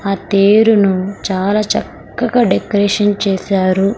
ఆ తేరును చాలా చక్కగా డెకరేషన్ చేశారు.